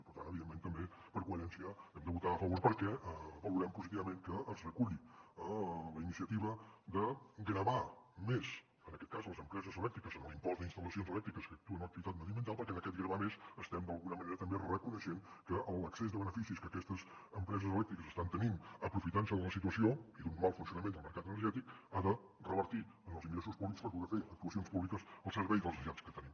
i per tant evidentment també per coherència hi hem de votar a favor perquè valorem positivament que ens reculli la iniciativa de gravar més en aquest cas les empreses elèctriques amb l’impost d’instal·lacions elèctriques que actuen en l’activitat mediambiental perquè en aquest gravar més estem d’alguna manera també reconeixent que l’excés de beneficis que aquestes empreses elèctriques estan tenint aprofitant se de la situació i d’un mal funcionament del mercat energètic ha de revertir en els ingressos públics per poder fer actuacions públiques al servei de les necessitats que tenim